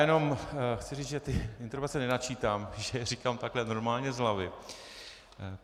Jenom chci říci, že ty interpelace nenačítám, že je říkám takhle normálně z hlavy.